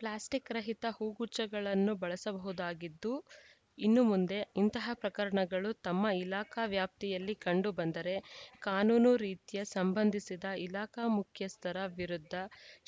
plastic ರಹಿತ ಹೂಗುಚ್ಛಗಳನ್ನು ಬಳಸಬಹುದಾಗಿದ್ದು ಇನ್ನು ಮುಂದೆ ಇಂತಹ ಪ್ರಕರಣಗಳು ತಮ್ಮ ಇಲಾಖಾ ವ್ಯಾಪ್ತಿಯಲ್ಲಿ ಕಂಡುಬಂದರೆ ಕಾನೂನು ರೀತ್ಯ ಸಂಬಂಧಿಸಿದ ಇಲಾಖಾ ಮುಖ್ಯಸ್ಥರ ವಿರುದ್ಧ